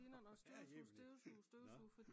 Herre jemini nå